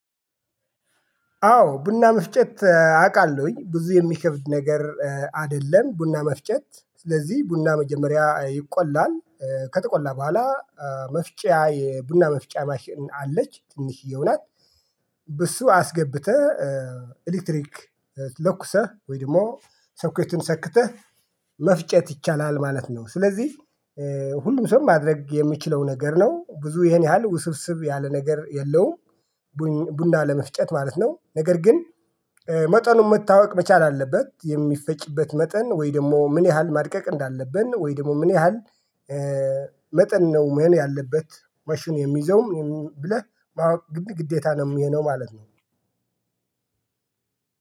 አዎ ቡና መፍጨት አውቃለሁኝ ብዙ የሚከብድ ነገር አይደለም ቡና መፍጨት ስለዚህ ቡና መጀመሪያ ይቆላል ከተቆላ በኋላ መፍጫ የቡና መፍጫ ማሽን አለች ትንሽዬ ናት። በሱ አስገብተህ ኤሌክትሪክ ለኩሰህ ወይም ደግሞ ሶኬቱን ሰክተህ መፍጨት ይቻላል ማለት ነው። ስለዚህ ሁሉም ሰው ማድረግ የሚችለው ነገር ነው ብዙ ይሄን ያህል ውስብስብ ያለ ነገር የለውም። ቡና ለመፍጨት ማለት ነው። ነገር ግን መጠኑን መታወቅ መቻል አለበት የሚፈጭበት መጠን ወይ ደግሞ ምን ያህል ማድቀቅ እንዳለብን ወይ ደግሞ ምን ያህል? መጠን ነው መን ያለበት ማሽኑ የሚይዘው ብለህ ግዴታ ነው የሚሆነው ማለት ነው።